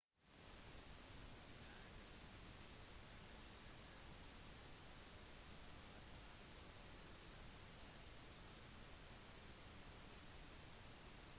hun oppnådde kritisk anerkjennelse under sin tid i atlanta og ble anerkjent for nyskapende urban utdanning